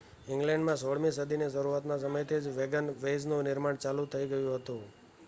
ઈંગ્લેન્ડમાં 16 મી સદીના શરૂઆતના સમયથી જ વેગનવેઇઝનું નિર્માણ ચાલુ થઈ ગયું હતું